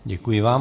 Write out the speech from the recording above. Děkuji vám.